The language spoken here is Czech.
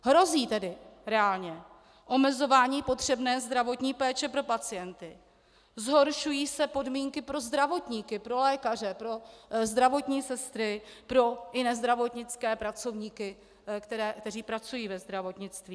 Hrozí tedy reálně omezování potřebné zdravotní péče pro pacienty, zhoršují se podmínky pro zdravotníky - pro lékaře, pro zdravotní sestry, pro jiné zdravotnické pracovníky, kteří pracují ve zdravotnictví.